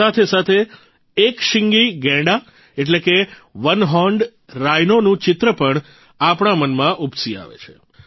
સાથોસાથ એક શીંગી ગૈંડા એટલે કે ઓને હોર્ન Rhinoનું ચિત્ર પણ આપણા મનમાં ઉપસી આવે છે